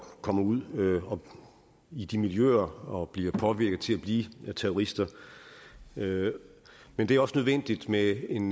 kommer ud i de miljøer og bliver påvirket til at blive terrorister men det er også nødvendigt med en